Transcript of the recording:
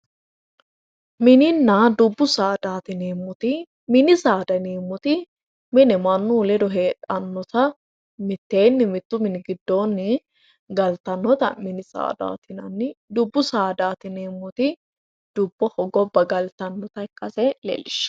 Mininna dubbu saadaati yineemmoti mini saada yineemmoti mine mannu ledo heedhannota mitteenni mittu mini giddoonni galtannota mini saadaati yinanni dubbu saadaati yineemmoti dubboho gobba galtannota ikkase leellishshanno